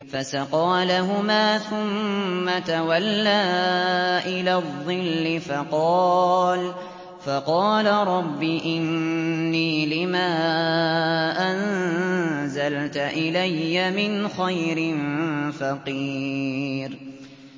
فَسَقَىٰ لَهُمَا ثُمَّ تَوَلَّىٰ إِلَى الظِّلِّ فَقَالَ رَبِّ إِنِّي لِمَا أَنزَلْتَ إِلَيَّ مِنْ خَيْرٍ فَقِيرٌ